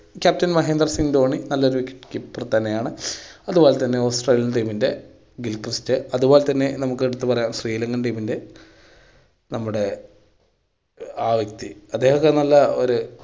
captain Mahendra Singh Dhoni നല്ലൊരു wicket keeper തന്നെയാണ്. അത് പോലെ തന്നെ australia ൻ team ൻ്റെ ഗിൽ ക്രിസ്റ്റ് അത് പോലെ നമുക്ക് എടുത്ത് പറയാം sreelanka ൻ team ൻ്റെ നമ്മുടെ ആ വ്യക്തി, അദ്ദേഹം ഒക്കെ നല്ല ഒരു